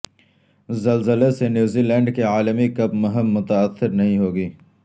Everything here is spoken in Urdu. زلزلے سے نیوزی لینڈ کی عالمی کپ مہم متاثر نہیں ہوگی